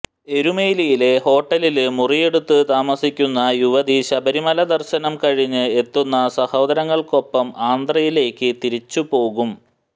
എരുമേലിയിലെ ഹോട്ടലില് മുറിയെടുത്ത് താമസിക്കുന്ന യുവതി ശബരിമല ദര്ശനം കഴിഞ്ഞ് എത്തുന്ന സഹോദരങ്ങള്ക്കൊപ്പം ആന്ധ്രയിലേക്ക് തിരിച്ചുപോകും